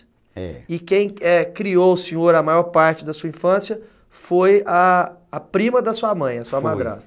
É. E quem, é, criou o senhor a maior parte da sua infância foi a prima da sua mãe, a sua madrasta. Foi.